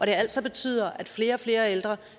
det altså betyder at flere og flere ældre